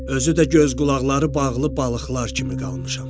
Özü də göz-qulaqları bağlı balıqlar kimi qalmışam.